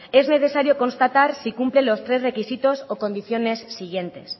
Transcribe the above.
es necesario constatar si cumple los tres requisitos o condiciones siguientes